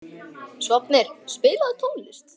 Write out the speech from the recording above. Sváfnir, spilaðu tónlist.